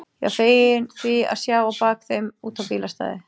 Ég var feginn því að sjá á bak þeim út á bílastæðið.